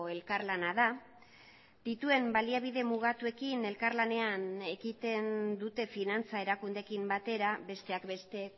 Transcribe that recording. elkarlana da dituen baliabide mugatuekin elkarlanean ekiten dute finantza erakundeekin batera besteak beste